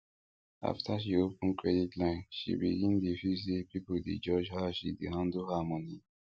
after she open credit line she begin dey feel say people dey judge how she dey handle her money